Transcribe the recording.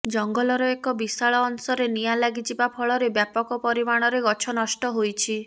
ଜଙ୍ଗଲର ଏକ ବିଶାଳ ଅଂଶରେ ନିଆଁ ଲାଗିଯିବା ଫଳରେ ବ୍ୟାପକ ପରିମାଣରେ ଗଛ ନଷ୍ଟ ହୋଇଛି